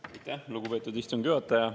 Aitäh, lugupeetud istungi juhataja!